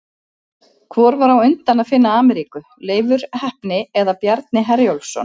Hvor var á undan að finna Ameríku, Leifur heppni eða Bjarni Herjólfsson?